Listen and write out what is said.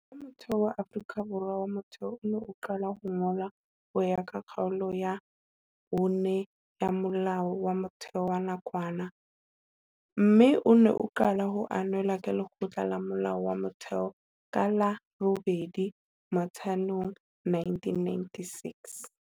Molao wa Motheo wa Afrika Borwa Molao wa Motheo o ne o qale ho ngolwa ho ya ka Kgaolo ya 5 ya Molao wa Motheo wa nakwana, Molao wa 200 wa 1993, mme o ne o qale ho ananelwa ke Lekgotla la Molao wa Motheo ka la 8 Motsheanong 1996.